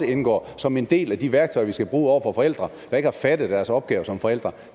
indgår som en del af de værktøjer vi skal bruge over for forældre der ikke har fattet deres opgave som forældre